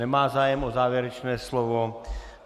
Nemá zájem o závěrečné slovo.